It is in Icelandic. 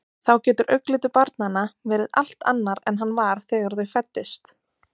Þá getur augnlitur barnanna verið allt annar en hann var þegar þau fæddust.